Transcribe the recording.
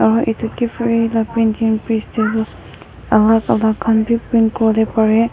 Ah etu kiphire la printingpress tey tu alak alak khan beh print kure bole bare.